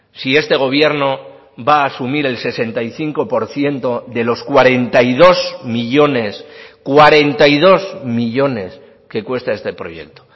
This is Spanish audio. si este gobierno va a asumir el sesenta y cinco por ciento de los cuarenta y dos millónes cuarenta y dos millónes que cuesta este proyecto